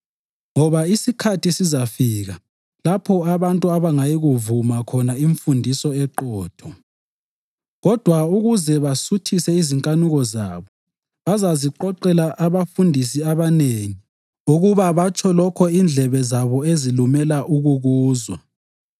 Ngoba isikhathi sizafika lapho abantu abangayikuyivuma khona imfundiso eqotho. Kodwa ukuze basuthise izinkanuko zabo, bazaziqoqela abafundisi abanengi ukuba batsho lokho indlebe zabo ezilumela ukukuzwa.